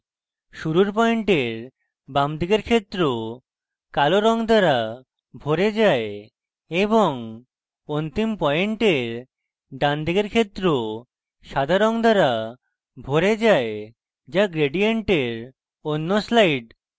শুরুর পয়েন্টের বামদিকের ক্ষেত্র কালো রঙ দ্বারা ভরে যায় এবং অন্তিম পয়েন্টের ডানদিকের ক্ষেত্র সাদা রঙ দ্বারা ভরে যায় যা gradient অন্য স্লাইড